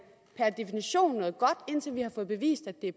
per definition noget godt indtil vi har fået bevist at det